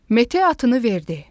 Mete atını verdi.